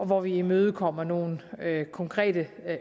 hvor vi imødekommer nogle konkrete